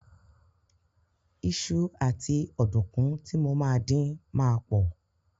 Iṣu àti ọ̀dùnkún tí mo máa dín ma pọ̀.